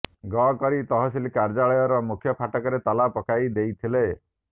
ଗ କରି ତହସିଲ କାର୍ଯ୍ୟାଳୟର ମୁଖ୍ୟ ଫାଟକରେ ତାଲା ପକାଇ ଦେଇଥିଲେ